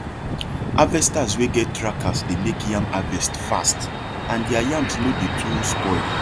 harvesters wey get trackers dey make yam harvest fast and their yams no dey too spoil